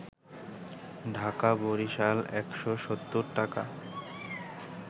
ঢাকা-বরিশাল ১৭০ টাকা